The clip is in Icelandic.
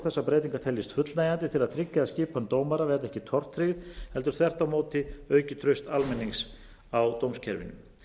þessar breytingar teljist fullnægjandi til að tryggja að skipan dómara verði ekki tortryggð heldur þvert á móti auki traust almennings á dómskerfinu